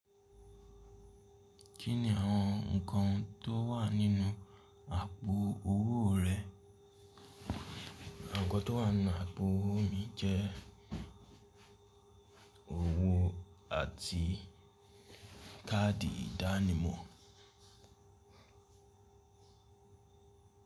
Kí ni àwọn ǹnkan tó wà nínú àpò owó rẹ? Nnkan tó wà nínú àpò owó mi jẹ́ owó àti káàdì ìdánimọ̀.